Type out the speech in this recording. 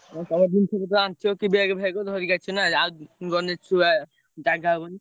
ଆଉ ତମେ ଜିନିଷପତ୍ର ଆଣି ଥିବ କି bag ଫ୍ଯାଗ୍ ଧରିକି ଆସିବ ନା ଆଉ ଗଲେ ଛୁଆ ଜାଗା ହବନି।